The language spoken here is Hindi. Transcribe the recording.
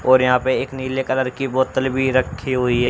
और यहां पे एक नीले कलर बोतल भी रखी हुई है।